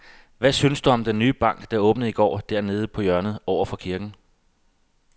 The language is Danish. Hvad synes du om den nye bank, der åbnede i går dernede på hjørnet over for kirken?